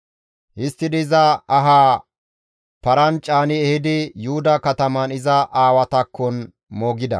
Histtidi iza ahaa paran caani ehidi Yuhuda kataman iza aawatakkon moogida.